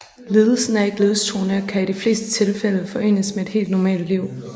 Lidelsen er ikke livstruende og kan i de fleste tilfælde forenes med et helt normalt liv